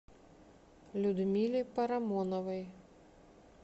людмиле парамоновой